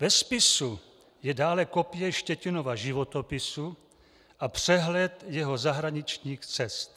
Ve spisu je dále kopie Štětinova životopisu a přehled jeho zahraničních cest.